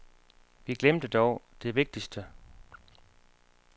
Vi glemte dog det vigtigste.